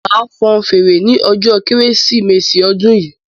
Máa fan fèrè ní ọjọ kérésìmesì odun yìí